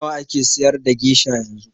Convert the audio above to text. Nawa ake siyar da gesha yanzu?